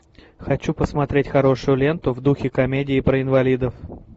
хочу посмотреть хорошую ленту в духе комедии про инвалидов